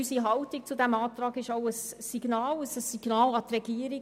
Unsere Haltung zu diesem Antrag ist auch ein Signal an die Regierung.